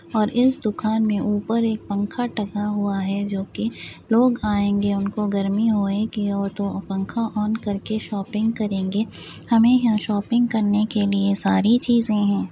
और इस दुकान में उपर एक पंख टंगा हुआ है जो की लोग आएंगे उनके गर्मी होगी तो पंख ऑन कर के शॉपिंग करेंगे हमें यहाँ शॉपिंग करने के लिए सारी चींज़े हैं।